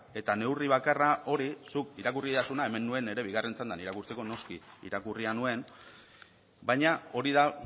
eta neurri bakarra hori zuk irakurri didazuna hemen nuen nire bigarren txandan irakurtzeko noski irakurria nuen baina hori da